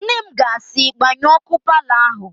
Nne m ga-asị, "gbanyụọ ọ́kụ́ palọ áhụ̀"!